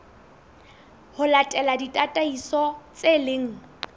ho latela ditataiso tse leng